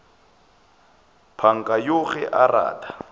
panka yoo ge a rata